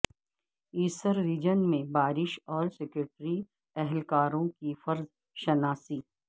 Asir region میں بارش اور سیکیورٹی اہلکاروں کی فرض شناسی